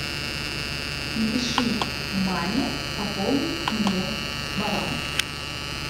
напиши маме пополни мне баланс